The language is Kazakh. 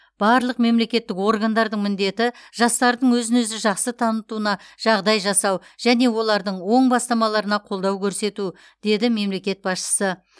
барлық мемлекеттік органдардың міндеті жастардың өзін өзі жақсы танытуына жағдай жасау және олардың оң бастамаларына қолдау көрсету деді мемлекет басшысы